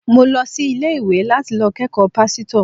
Mo lo sí ilé-iwé láti lo kékòó pásítò